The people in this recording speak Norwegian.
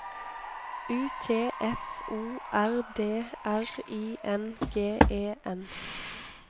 U T F O R D R I N G E N